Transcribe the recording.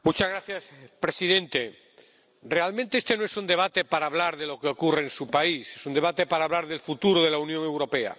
Señor presidente, realmente este no es un debate para hablar de lo que ocurre en su país es un debate para hablar del futuro de la Unión Europea.